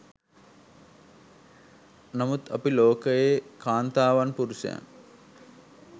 නමුත් අපි ලෝකයේ කාන්තාවන් පුරුෂයන්